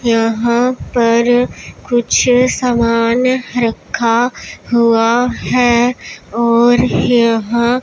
यहाँ पर कुछ समान रखा हुआ हैं और यह--